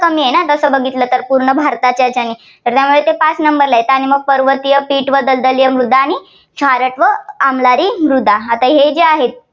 कमी आहे ना, तसं बघितलं तर खूप भारताच्या हेच्याने. ते पाच number ला आहे. आणि मग पर्वतीय, दलदलीय मृदा, खारट व आम्लारी मृदा आता हे जे आहेत.